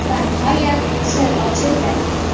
Va nihoyat, sir ochildi!